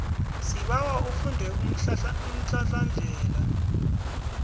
sibawa ufunde umhlahlandlela